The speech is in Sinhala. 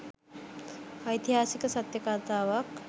ඓතිහාසික සත්‍ය කතාවක්